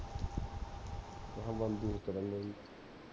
ਬੰਦ ਹੀ ਕਰਨਾ ਸੀ